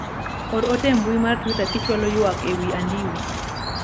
or ote e mbui mar twita kichwalo ywak e wi andiwo